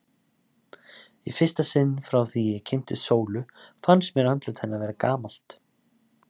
Í fyrsta sinn frá því ég kynntist Sólu fannst mér andlit hennar vera gamalt.